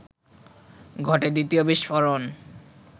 ঘটে দ্বিতীয় বিস্ফোরণ